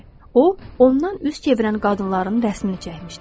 O, ondan üz çevirən qadınların rəsmimi çəkmişdi.